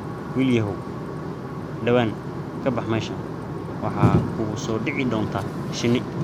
Wiilyahow, dhawaan ka bax meeshan, waxaa kugu soo dhici doonta shinni